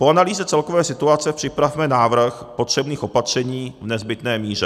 Po analýze celkové situace připravme návrh potřebných opatření v nezbytné míře.